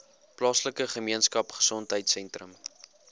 plaaslike gemeenskapgesondheid sentrum